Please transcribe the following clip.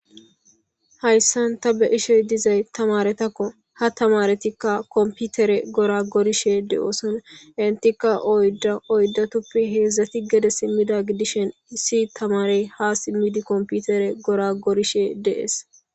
hayssan ta be ishe dizay tamaretakko ha tamaretikka komputere gora gorishe de7ooson intika oyda oydatuppi heedzdzati gede simmida gidishen issi tamarey ha simmidi komputere gora gorishe de'es